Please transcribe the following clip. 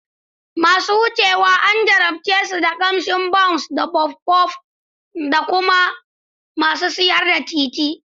Masu wucewa an jarabce su da ƙamshin Bounce da Puffpuff daga masu siyar da titi.